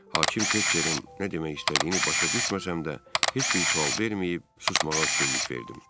Hakim Tekçerin nə demək istədiyini başa düşməsəm də, heç bir sual verməyib, susmağa qəsd elədim.